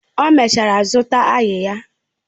O mechara zụta áyiyah